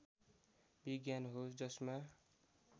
विज्ञान हो जसमा